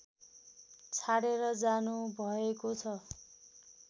छाडेर जानुभएको छ